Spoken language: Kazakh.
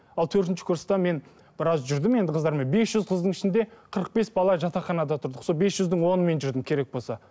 ал төртінші курста мен біраз жүрдім енді қыздармен бес жүз қыздың ішінде қырық бес бала жатақханада тұрдық сол бес жүздің онымен жүрдім керек болса